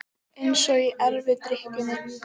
Eins og í erfidrykkjunni.